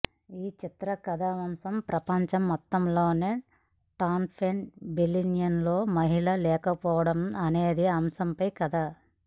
ఈ చిత్ర కథాంశం ప్రపంచం మొత్తంలో టాప్టెన్ బిలియనీర్స్లో మహిళలు లేకపోవడం అనే అంశంపై కథ